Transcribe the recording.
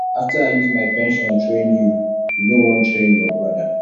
after i use my pension train you you no wan train your broda